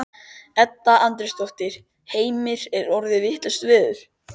Edda Andrésdóttir: Heimir er orðið vitlaust veður?